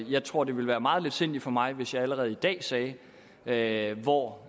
jeg tror det ville være meget letsindigt af mig hvis jeg allerede i dag sagde sagde hvor